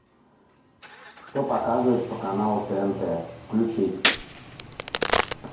что показывают по каналу тнт включить